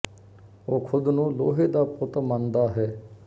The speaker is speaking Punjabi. ਉਹ ਖੁਦ ਨੂੰ ਲੋਹੇ ਦਾ ਪੁੱਤ ਮੰਨਦਾ ਹੈ